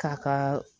K'a kaa